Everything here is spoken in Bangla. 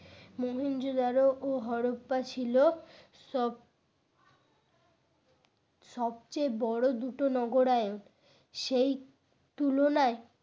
মহেঞ্জোদারো ও হরপ্পা ছিল সব সবচেয়ে বড় দুটো নগরায়ন সেই তুলনায়